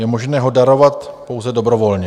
Je možné ho darovat pouze dobrovolně.